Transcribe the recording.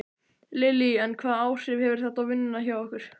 Lillý: En hvaða áhrif hefur þetta á vinnuna hjá ykkur?